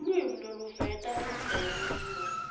lulwimi loluveta luvelo